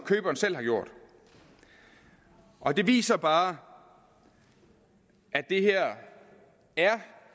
køberen selv har gjort og det viser bare at det her er